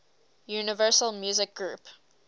universal music group